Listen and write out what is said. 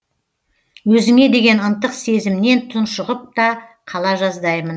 өзіңе деген ынтық сезімнен тұншығып та қала жаздаймын